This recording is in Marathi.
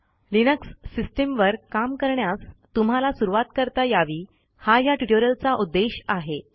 लिनक्स सिस्टीमवर काम करण्यास तुम्हाला सुरुवात करता यावी हा ह्या ट्युटोरियलचा उद्देश आहे